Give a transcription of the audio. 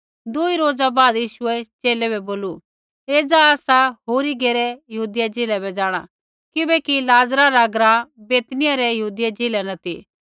दुई रोज़ा बाद यीशुऐ च़ेले बै बोलू एज़ा आसा होरी घेरै यहूदिया ज़िलै बै जाँणा किबैकि लाज़र रा ग्राँ बैतनिय्याह रै यहूदी ज़िलै न ती